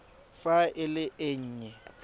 fa e le e nnye